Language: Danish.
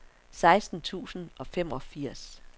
seksten tusind og femogfirs